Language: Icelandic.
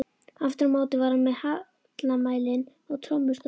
Aftur á móti var hann með hallamælinn og tommustokkinn.